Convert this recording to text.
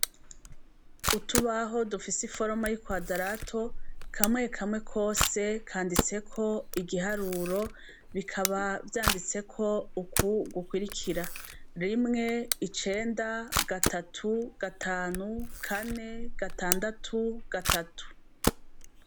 Utubaho dufise iforoma y'ikwadarato kamwe kamwe kose kanditseko igiharuro bikaba vyanditseko uku gukwirikira : rimwe icenda, gatatu, gatanu, kane, gatandatu, gatatu.